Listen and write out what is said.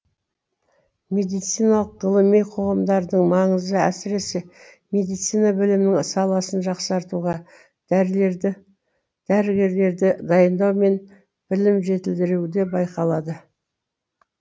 медициналық ғылыми қоғамдардың маңызы әсіресе медицина білімнің саласын жақсартуға дәрігерлерді дайындау мен білімін жетілдіруде байқалады